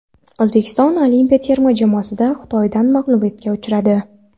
O‘zbekiston olimpiya terma jamoasi Xitoydan mag‘lubiyatga uchradi.